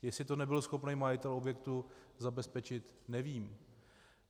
Jestli to nebyl schopen majitel objektu zabezpečit, nevím.